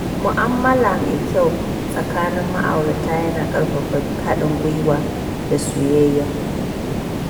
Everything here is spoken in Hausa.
Mu'amala mai kyau tsakanin ma’aurata yana ƙarfafa haɗin gwiwa da soyayya.